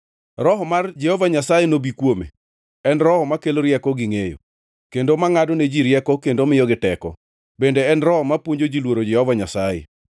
Roho mar Jehova Nyasaye nobi kuome, en Roho makelo rieko gingʼeyo, kendo mangʼadone ji rieko kendo miyogi teko, bende en Roho mapuonjo ji luoro Jehova Nyasaye,